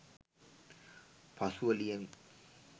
පසුව ලියමි